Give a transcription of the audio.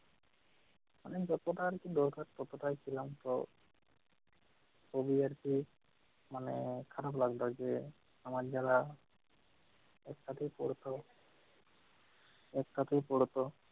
মানে যতটা আরকি দরকার ততটাই ছিলাম। তো খুবই আরকি মানে খারাপ লাগত যে আমার যারা একসাথেই পড়তো একসাথেই পড়তো